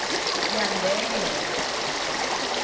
yandheya